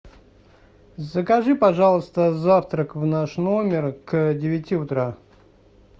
закажи пожалуйста завтрак в наш номер к девяти утра